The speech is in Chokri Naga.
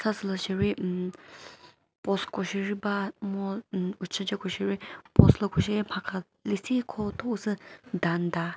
sa süzori umm post ko sheri ba mo umm ushice ko she ri post lo ko sheri lüsikho thonsü dam ta.